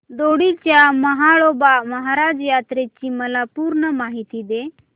दोडी च्या म्हाळोबा महाराज यात्रेची मला पूर्ण माहिती दे